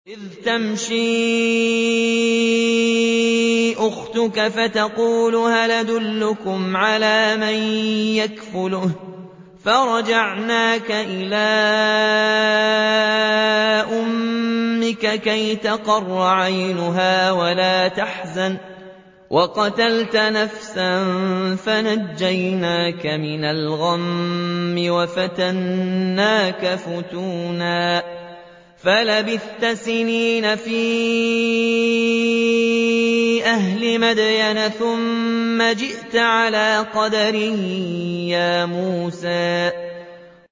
إِذْ تَمْشِي أُخْتُكَ فَتَقُولُ هَلْ أَدُلُّكُمْ عَلَىٰ مَن يَكْفُلُهُ ۖ فَرَجَعْنَاكَ إِلَىٰ أُمِّكَ كَيْ تَقَرَّ عَيْنُهَا وَلَا تَحْزَنَ ۚ وَقَتَلْتَ نَفْسًا فَنَجَّيْنَاكَ مِنَ الْغَمِّ وَفَتَنَّاكَ فُتُونًا ۚ فَلَبِثْتَ سِنِينَ فِي أَهْلِ مَدْيَنَ ثُمَّ جِئْتَ عَلَىٰ قَدَرٍ يَا مُوسَىٰ